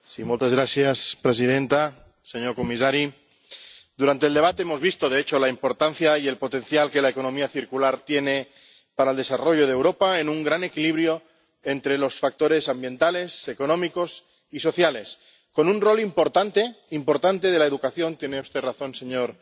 Señora presidenta, señor comisario, durante el debate hemos visto de hecho la importancia y el potencial que la economía circular tiene para el desarrollo de Europa en un gran equilibrio entre los factores ambientales, económicos y sociales, con un rol importante importante de la educación tiene usted razón, señor